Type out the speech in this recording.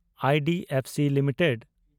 IDFC limited